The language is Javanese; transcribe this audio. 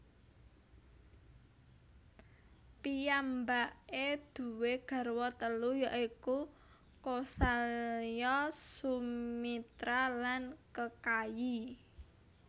Piyambake duwé garwa telu ya iku Kosalya Sumitra lan Kekayi